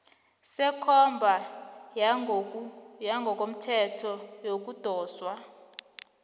sekomba yangokomthetho yokudoswa